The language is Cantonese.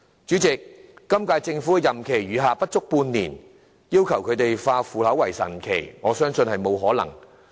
主席，本屆政府任期餘下不足半年，要求他們化腐朽為神奇，我認為並不可能。